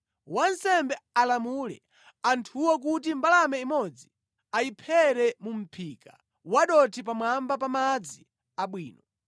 Wansembe alamule anthuwo kuti mbalame imodzi ayiphere mu mʼphika wa dothi pamwamba pa madzi abwino.